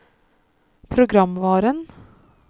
programvaren